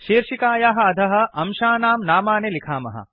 शीर्षिकायाः अधः अंशानांकाम्पोनेंट् नामानि लिखामः